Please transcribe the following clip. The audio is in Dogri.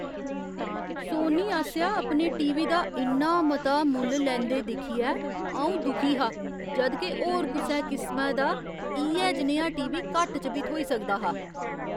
सोनी आसेआ अपने टीवी दा इन्ना मता मुल्ल लैंदे दिक्खियै अऊं दुखी हा जद् के होर कुसै किसमै दा इ'यै जनेहा टीवी घट्ट च बी थ्होई सकदा हा ।